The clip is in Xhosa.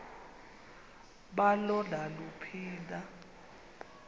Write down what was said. balo naluphi na